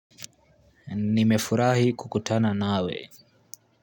Nimefurahi kukutana nawe.